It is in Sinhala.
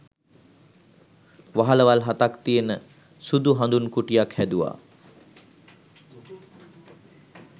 වහලවල් හතක් තියෙන සුදු හඳුන් කුටියක් හැදුවා